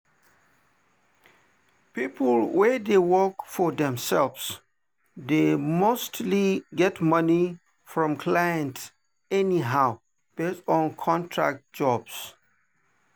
people wey dey work for themselves dey mostly get money from clients anyhow based on contract jobs.